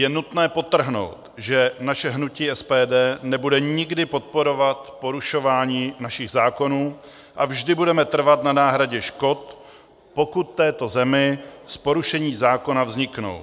Je nutné podtrhnout, že naše hnutí SPD nebude nikdy podporovat porušování našich zákonů a vždy budeme trvat na náhradě škod, pokud této zemi z porušení zákona vzniknou.